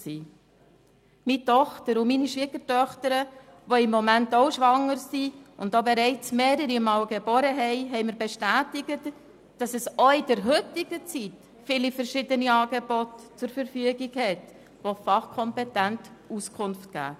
Meine Tochter und meine Schwiegertöchter, die im Moment auch schwanger sind und auch bereits mehrere Male geboren haben, haben mir bestätigt, dass auch in der heutigen Zeit viele verschiedene Angebote bestehen, die fachkompetent Auskunft geben.